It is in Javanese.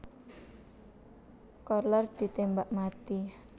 Kohler ditembak mati